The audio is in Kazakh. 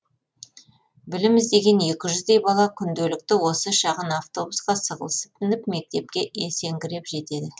білім іздеген екі жүздей бала күнделікті осы шағын автобусқа сығылысып мініп мектепке есеңгіреп жетеді